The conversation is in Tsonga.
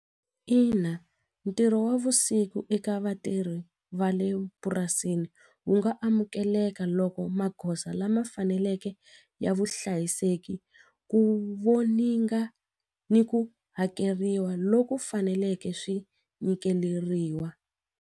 Ina, ntirho wa vusiku eka vatirhi va le purasini wu nga amukeleka loko magoza lama faneleke ya vuhlayiseki ku voninga ni ku hakeriwa loku faneleke swi nyikeleriwa.